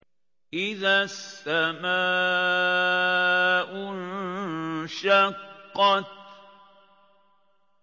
إِذَا السَّمَاءُ انشَقَّتْ